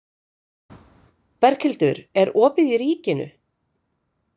Berghildur, er opið í Ríkinu?